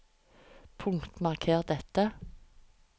Punktmarker dette